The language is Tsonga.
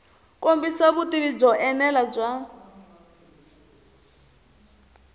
kombisa vutivi byo enela bya